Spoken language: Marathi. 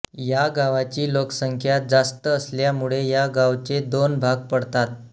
या गावाची लोकसंख्या जास्त असल्यामुळे या गावचे दोन भाग पडतात